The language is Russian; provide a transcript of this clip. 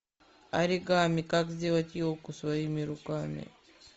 оригами как сделать елку своими руками